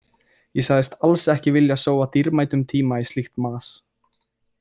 Ég sagðist alls ekki vilja sóa dýrmætum tíma í slíkt mas.